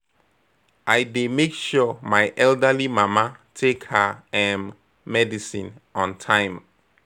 I dey make sure my elderly mama take her um medicine on time.